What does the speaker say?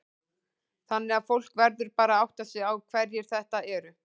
Þannig að fólk verður bara að átta sig á hverjir þetta eru?